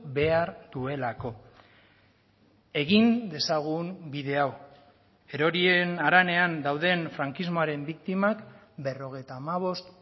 behar duelako egin dezagun bide hau erorien haranean dauden frankismoaren biktimak berrogeita hamabost